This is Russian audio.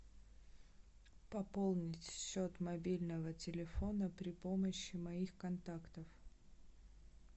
пополнить счет мобильного телефона при помощи моих контактов